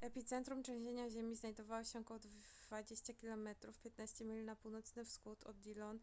epicentrum trzęsienia ziemi znajdowało się około 20 km 15 mil na północny wschód od dillon